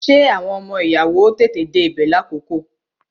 Ṣé àwọn ọmọ ìyàwó ó tètè dé ibè lákòókò?